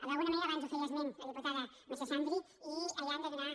d’alguna manera abans en feia esment la diputada marisa xandri i allà hem de donar